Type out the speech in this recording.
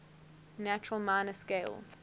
natural minor scale